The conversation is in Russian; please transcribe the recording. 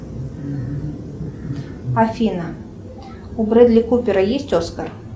афина у бредли купера есть оскар